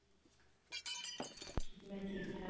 ਮੈਂ ਠੀਕ ਠਾਕ